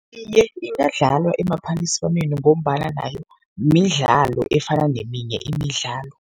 Iye, ingadlalwa emaphaliswaneni ngombana nayo midlalo efana neminye imidlalo.